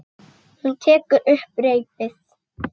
Hún tekur upp reipið.